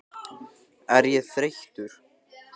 Er ég þreyttur?